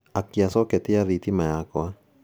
akia coketi ya thitima yakwa